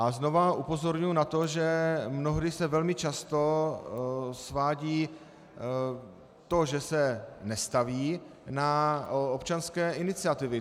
A znovu upozorňuji na to, že mnohdy se velmi často svádí to, že se nestaví, na občanské iniciativy.